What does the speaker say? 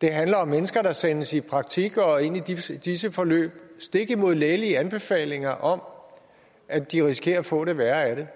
det handler om mennesker der sendes i praktik og ind i disse disse forløb stik imod lægelige anbefalinger om at de risikerer at få det værre af det